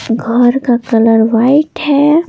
बाहर का colour white है।